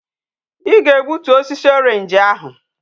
I ga egbutu osisi orange ahu!